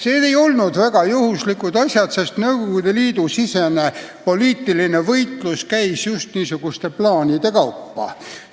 Need ei olnud üldsegi juhuslikud asjad, sest Nõukogude Liidu sisemine võimuvõitlus käis just niisuguste plaanide kaudu.